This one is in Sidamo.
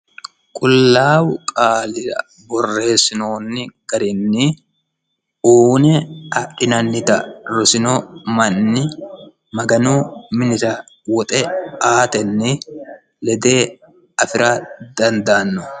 qullaawu qaalira borreessinoonni garinni uune adhinannita rosino manni maganu minira woxe aatenni lede afi'ra dandaanno